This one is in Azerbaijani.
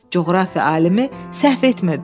Coğrafiya alimi səhv etmirdi.